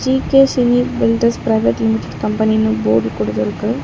GK Chinni builders private limited கம்பெனினு ஒரே board குடுத்துருக்கு.